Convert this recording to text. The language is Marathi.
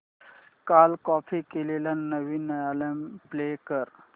काल कॉपी केलेला नवीन अल्बम प्ले कर